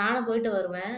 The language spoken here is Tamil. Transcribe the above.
நானும் போயிட்டு வருவேன்